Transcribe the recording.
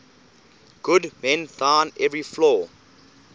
god mend thine every flaw